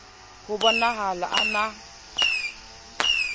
ho bo nahala a na